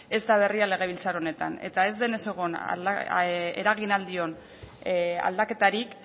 ez da berria legebiltzar honetan eta ez denez egon eragin ahal dion aldaketarik